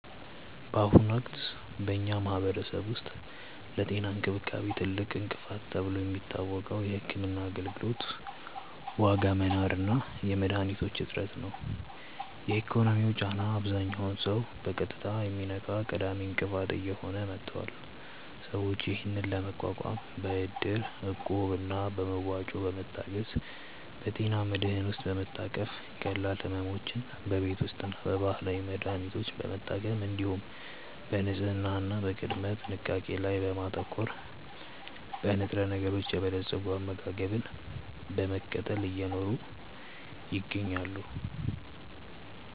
በአሁኑ ወቅት በኛ ማህበረሰብ ውስጥ ለጤና እንክብካቤ ትልቁ እንቅፋት ተብሎ የሚታወቀው የሕክምና አገልግሎት ዋጋ መናር እና የመድኃኒቶች እጥረት ነው። የኢኮኖሚው ጫና አብዛኛውን ሰው በቀጥታ የሚነካ ቀዳሚ እንቅፋት እየሆነ መጥቷል። ሰዎች ይህንን ለመቋቋም በእድር፣ እቁብ እና በመዋጮ በመታገዝ፣ በጤና መድህን ውስጥ በመታቀፍ፣ ቀላል ሕመሞችን በቤት ውስጥና በባህላዊ መድሀኒቶች በመታከም፣ እንዲሁም በንጽህና እና በቅድመ ጥንቃቄ ላይ በማተኮር፣ በንጥረነገሮች የበለፀገ አመጋገብን በመከተል እየኖሩ ይገኛሉ።